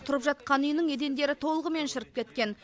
тұрып жатқан үйінің едендері толығымен шіріп кеткен